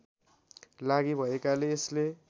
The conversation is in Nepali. लागि भएकाले यसले